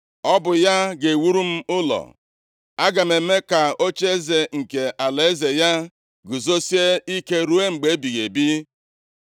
Ọ bụ ya ga-ewuru m ụlọ. Aga m eme ka ocheeze nke alaeze ya guzosie ike ruo mgbe ebighị ebi. + 7:13 \+xt 7:16\+xt*